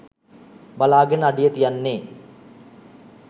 බලාගෙන අඩිය තියන්නේ